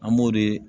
An b'o de